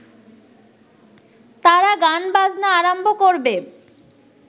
তারা গান বাজনা আরম্ভ করবে